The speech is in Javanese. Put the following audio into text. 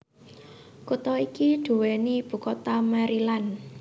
Kutha iki duweni ibu kota Maryland